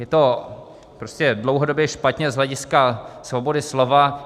Je to prostě dlouhodobě špatně z hlediska svobody slova.